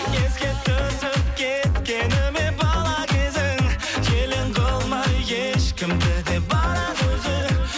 еске түсіп кеткені ме бала кезің елең қылмай ешкімді де барады өзі